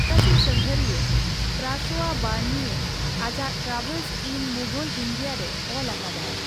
ᱯᱷᱚᱨᱟᱥᱤ ᱥᱟᱸᱜᱷᱟᱨᱤᱭᱟᱹ François Bernier ᱟᱡᱟᱜ 'Travels in Mughal India" ᱨᱮ ᱚᱞ ᱟᱠᱟᱫᱟᱭ ᱾